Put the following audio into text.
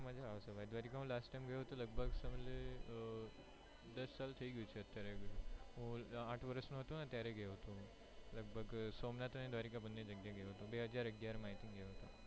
દ્વારિકા માં last time ગયો તો લગભગ દસ સાલ થયી ગયું છે, અત્યારે હું આઠ વર્ષ નો હતો ત્યારે ગયો હતો લગભગ સોમનાથ, દ્વારકા બંને જગ્યાએ ગયો તો બે હજાર અગિયાર માં ગયો હતો.